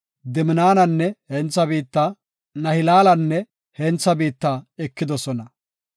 Diminanne hentha biitta, Nahilaalanne hentha biitta ekidosona.